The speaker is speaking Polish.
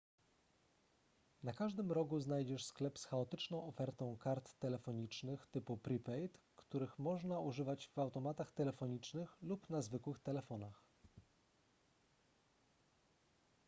na każdym rogu znajdziesz sklep z chaotyczną ofertą kart telefonicznych typu prepaid których można używać w automatach telefonicznych lub na zwykłych telefonach